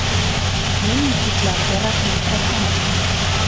Men yigitlarga rahmat aytaman.